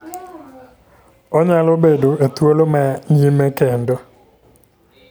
Onyalo bedo e thuolo ma nyime kendo.